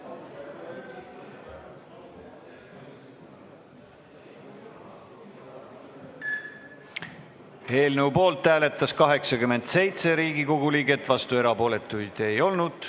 Hääletustulemused Eelnõu poolt hääletas 87 Riigikogu liiget, vastuolijaid ega erapooletuid ei olnud.